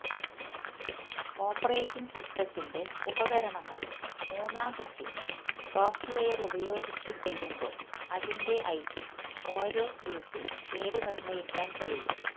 operating സിസ്റ്റത്തിന്റെ ഉപകരണങ്ങളും മൂന്നാം കക്ഷി സോഫ്റ്റ്വെയർ ഉപയോഗിച്ച് ചെയ്യുമ്പോൾ അതിന്റെ ഐപി ഓരോ പിസി പേര് നിർണ്ണയിക്കാൻ കഴിയും